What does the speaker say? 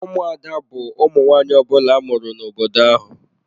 Ụmụada bu ụmụ nwanyị ọbula amụrụ n'obodo ahụ.